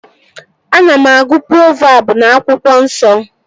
Ana m agụ provabụ n'akwụkwọ nsọ